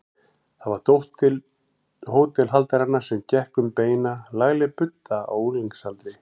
Það var dóttir hótelhaldaranna sem gekk um beina, lagleg budda á unglingsaldri.